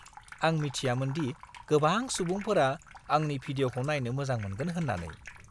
आं मिथियामोनदि गोबां सुबुंफोरा आंनि भिडिअ'खौ नायनो मोजां मोनगोन होन्नानै।